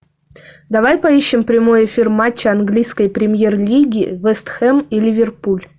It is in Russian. давай поищем прямой эфир матча английской премьер лиги вест хэм и ливерпуль